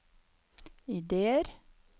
ideer